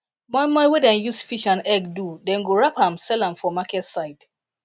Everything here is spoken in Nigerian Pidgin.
moi moi wey dem use fish and egg do dem go wrap am sell am for market side